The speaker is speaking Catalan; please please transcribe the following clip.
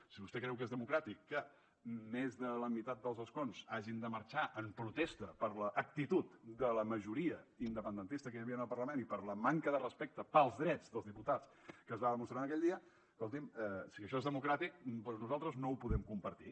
si vostè creu que és democràtic que més de la meitat dels escons hagin de marxar en protesta per l’actitud de la majoria independentista que hi havia en el parlament i per la manca de respecte pels drets dels diputats que es va demostrar aquell dia escolti’m si això és democràtic doncs nosaltres no ho podem compartir